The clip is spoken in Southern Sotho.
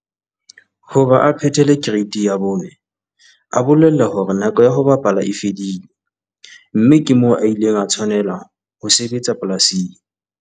Hoba a phethele Kereiti ya 4 a bolellwa hore nako ya ho bapala e fedile, mme ke moo a ileng a tshwanela ho sebetsa polasing.